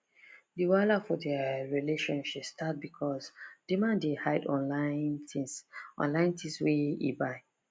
d wahala for dia relationship start because d man dey hide online things online things wey e buy